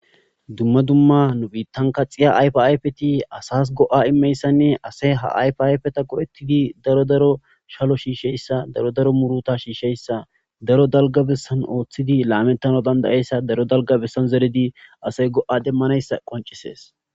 Dumma dumma nu biittan kaxiya ayfaypeti asas go'a immeyssanne asey ha ayfayfeta go7ettidi daro daro shalo shiisheyssa daro daro muruta shiisheyssa daro dalgabessan ooththidi laamettana dandayeyssa daro dalgabessan zeridi asey go'a demmanayssa qoncisees.